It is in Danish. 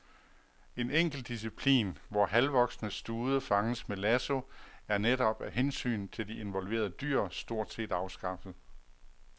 En enkelt disciplin, hvor halvvoksne stude fanges med lasso, er netop af hensyn til de involverede dyr stort set afskaffet.